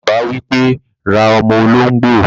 Bàbá wípé, "ra ọ́mọ́ olóngbò